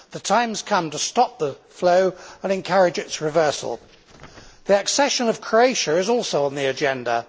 The time has come to stop the flow and encourage its reversal. The accession of Croatia is also on the agenda.